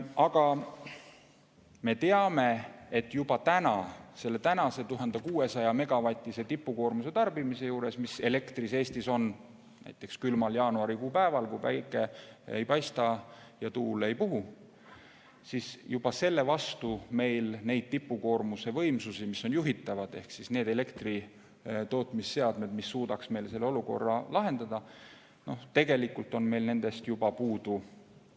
Aga me teame, et juba selle tänase 1600‑megavatise tipukoormuse tarbimisel, mis Eestis on näiteks külmal jaanuarikuu päeval, kui päike ei paista ja tuul ei puhu, meil juhitavaid tipukoormuse võimsusi, neid elektritootmisseadmeid, mis suudaks selle olukorra lahendada, juba ei jätku, meil on neid puudu.